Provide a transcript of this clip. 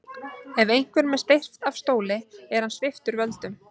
Ef einhverjum er steypt af stóli er hann sviptur völdum.